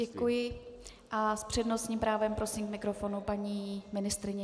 Děkuji a s přednostním právem prosím k mikrofonu paní ministryni.